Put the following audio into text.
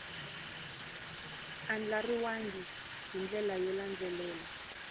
andlariwangi hi ndlela yo landzelela